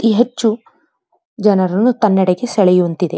ಈ ಹೆಚ್ಚು ಜನರನ್ನು ತನ್ನೆಡೆಗೆ ಸೆಳೆಯುವಂತಿದೆ.